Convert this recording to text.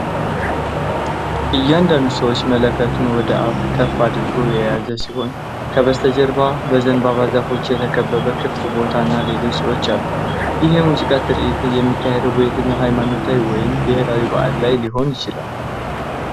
እያንዳንዱ ሰው መለከቱን ወደ ላይ ከፍ አድርጎ የያዘ ሲሆን ከበስተጀርባ በዘንባባ ዛፎች የተከበበ ክፍት ቦታ እና ሌሎች ሰዎች አሉ። ይህ የሙዚቃ ትርኢት የሚካሄደው በየትኛው ሃይማኖታዊ ወይም ብሔራዊ በዓል ላይ ሊሆን ይችላል?